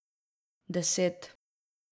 Deset.